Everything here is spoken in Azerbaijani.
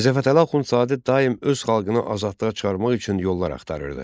Mirzə Fətəli Axundzadə daim öz xalqını azadlığa çıxarmaq üçün yollar axtarırdı.